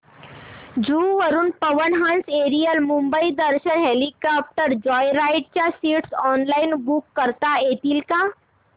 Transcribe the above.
जुहू वरून Pawan Hans aerial Mumbai Darshan helicopter joyride च्या seats online book करता येतील का